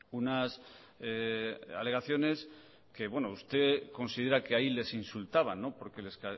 unas alegaciones que usted considera que ahí les insultaban porque les